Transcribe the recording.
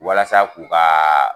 Walasa k'u ka